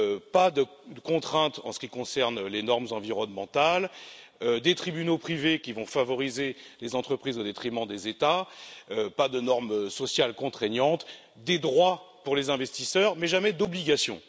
pas de contrainte en ce qui concerne les normes environnementales, des tribunaux privés qui vont favoriser les entreprises au détriment des États, pas de normes sociales contraignantes, des droits pour les investisseurs, mais jamais d'obligations.